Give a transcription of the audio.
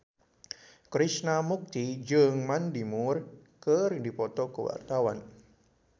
Krishna Mukti jeung Mandy Moore keur dipoto ku wartawan